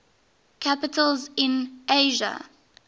capitals in asia